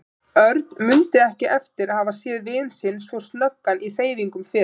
Örn mundi ekki eftir að hafa séð vin sinn svo snöggan í hreyfingum fyrr.